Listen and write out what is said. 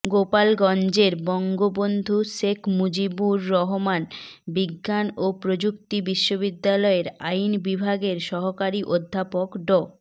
গোপালগঞ্জের বঙ্গবন্ধু শেখ মুজিবুর রহমান বিজ্ঞান ও প্রযুক্তি বিশ্ববিদ্যালয়ের আইন বিভাগের সহকারী অধ্যাপক ড